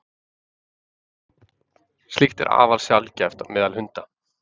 slíkt er afar sjaldgæft meðal hunda